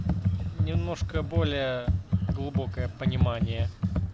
немножко более глубокое понимание